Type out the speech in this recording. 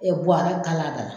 buwara kal'a da la.